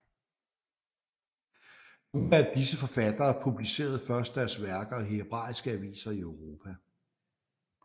Nogle af disse forfattere publicerede først deres værker i hebraiske aviser i Europa